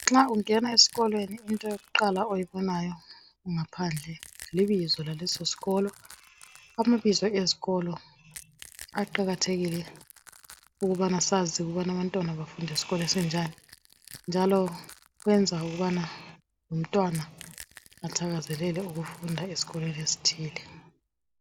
Nxa ungena eskolweni into yokuqala oyibonayo ngaphandle libizo laleso sikolo amabizo ezikolo aqakathekile ukubana sazi ukubana abantwana bafunda eskolo esinjani njalo kwenza ukubana lomntwana athakazelele ukufunda eskolweni ezithile.